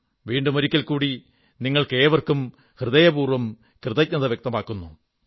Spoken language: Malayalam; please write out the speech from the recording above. വീണ്ടും ഒരിക്കൽ കൂടി നിങ്ങൾക്കേവർക്കും ഹൃദയപൂർവ്വം കൃതജ്ഞത വ്യക്തമാക്കുന്നു